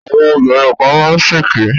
Àwọn obìnrin kan má ń ṣèké